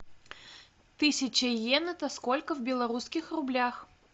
тысяча йен это сколько в белорусских рублях